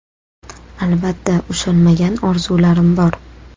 Albatta ushalmagan orzularim bor.